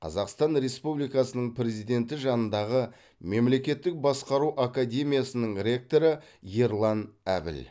қазақстан республикасының президенті жанындағы мемлекеттік басқару академиясының ректоры ерлан әбіл